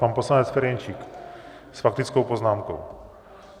Pan poslanec Ferjenčík s faktickou poznámkou.